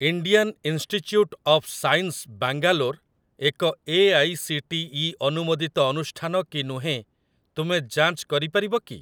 Indian Institute of Science Bangalore ଏକ AICTE ଅନୁମୋଦିତ ଅନୁଷ୍ଠାନ କି ନୁହେଁ ତୁମେ ଯାଞ୍ଚ କରିପାରିବ କି?